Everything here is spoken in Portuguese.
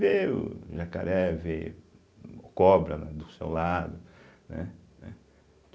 Vê o jacaré, vê cobra né, do seu lado, né? né